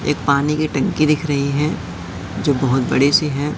एक पानी की टंकी दिख रही है जो बहुत बड़ी सी है।